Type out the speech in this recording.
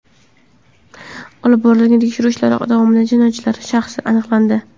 Olib borilgan tekshiruv ishlari davomida jinoyatchilar shaxsi aniqlandi.